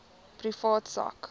privaat sak